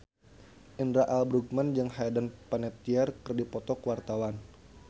Indra L. Bruggman jeung Hayden Panettiere keur dipoto ku wartawan